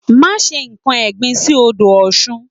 Má se nkan ẹ̀gbin sí odò Ọ̀sun